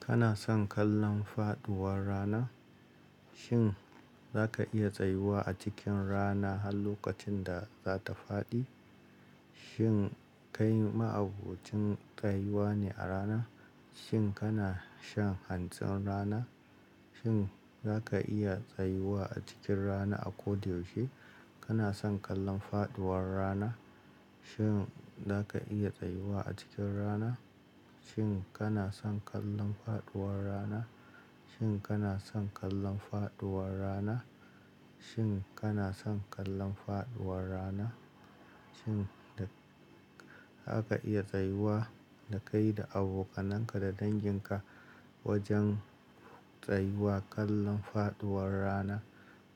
Kana son kallon faɗuwar rana? Shin zaka iya tsayuwa a cikin rana har lokacin da za ta faɗi? Shin kai ma'abocin tsayuwa ne a rana? Shin kana shan hantsin rana? Shin zaka iya tsayuwa a cikin rana a koda yaushe? Kana son kallon faɗuwar rana? Shin zaka iya tsayuwa a cikin rana? Shin kana son kallon faɗuwar rana? Shin kana son kallon faɗuwar rana? Shin kana son kallon faɗuwar rana? Shin zaka iya tsayuwa da kai da abokanan ka da dangin ka wajen tsayuwa kallon faɗuwar rana?